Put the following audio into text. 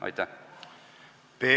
Aitäh!